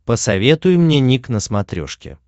посоветуй мне ник на смотрешке